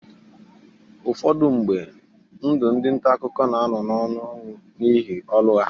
Ụfọdụ mgbe, ndụ ndị nta akụkọ na-anọ n'ọnụ ọnwụ n'ihi ọrụ ha.